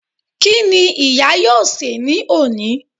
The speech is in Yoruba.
Kíni ìyá yóò sè ní òní